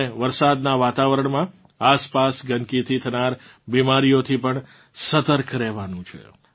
આપણે વરસાદનાં વાતાવરણમાં આસપાસ ગંદકીથી થનાર બિમારીઓથી પણ સતર્ક રહેવાનું છે